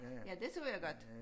Ja det så jeg godt